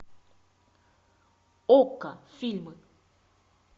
окко фильмы